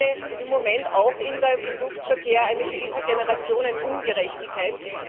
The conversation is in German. Denn ich sehe im Moment auch im Luftverkehr eine gewisse Generationenungerechtigkeit.